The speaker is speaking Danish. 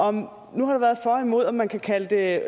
om man kan kalde det